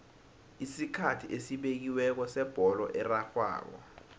isikhathi esibekiweko sebholo erarhwako